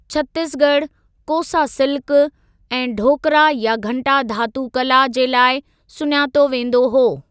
छत्तीसगढ़ 'कोसा सिल्क' ऐं 'ढोकरा या घंटा धातु कला' जे लाइ सुञातो वेंदो हुओ।